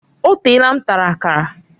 O teela m tara Akara